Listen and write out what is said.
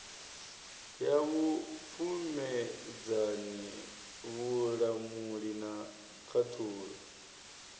ya vhupfumedzani vhulamuli na khaṱhulo